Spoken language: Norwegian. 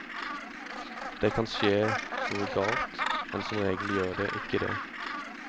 Det kan skje noe galt, men som regel gjør det ikke det.